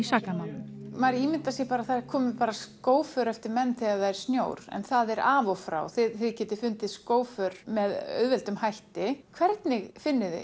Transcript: sakamálum maður ímyndar sér að það komi bara skóför eftir menn þegar það er snjór en það er af og frá þið getið fundið skóför með auðveldum hætti hvernig finnið þið